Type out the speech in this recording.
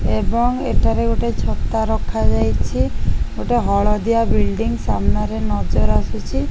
ଏବଂ ଏଟାରେ ଗୋଟେ ଛତା ରଖା ଯାଇଛି ଗୋଟେ ହଳଦିଆ ବୁଇଲ୍ଡିନ ସାମ୍ନା ରେ ନଜର ଆସୁଛି।